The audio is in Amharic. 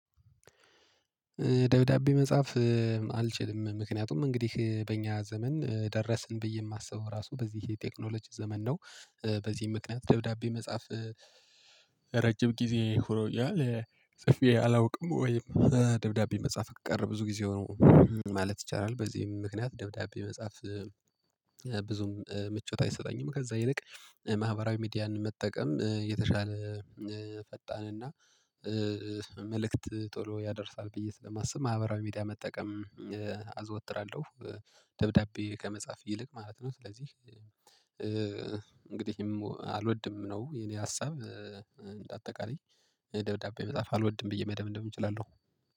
ደብዳቤ መጻፍ አልችልም ምክንያቱም እንግዲህ በእኛ ዘመን ደረስን ብዬ የማስበው ራሱ በዚህ የቴክኖሎጂ ዘመን ነው። በዚህ ምክንያት ደብዳቤ መጻፍ ረጅም ጊዜ ሆኖኛል ጽፌ አላውቅም ወይም ደብዳቤ መጻፍ ከቀረ ብዙ ጊዜው ሆነው ማለት ይቻላል። በዚህም ምክንያት ደብዳቤ መጽሐፍ ብዙም ምቾት አይሰጠኝም። ከዛ ይልቅ ማህበራዊ ሚዲያን መጠቀም የተሻለ ፈጣንና መልእክት ቶሎ ያደርሳል ብዬ ስለማስብ ማህበራዊ ሚዲያ መጠቀም አዘወትራለሁ። ደብዳቤ ከመጻፍ ይልቅ ማለት ነው። ስለዚህ እንግዲህ አልወድም ነው የኔ ሀሳብ። እንደ አጠቃላይ ደብዳቤ መጻፍ አልወድም ብዬ መደምደም እችላለሁ